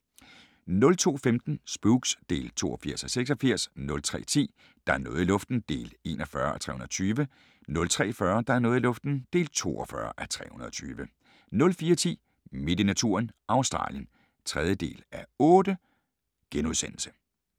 02:15: Spooks (82:86) 03:10: Der er noget i luften (41:320) 03:40: Der er noget i luften (42:320) 04:10: Midt i naturen – Australien (3:8)*